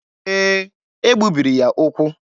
Ee, e gbubiri ya ụkwụ.